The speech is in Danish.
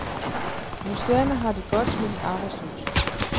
Museerne har det godt med de arbejdsløse.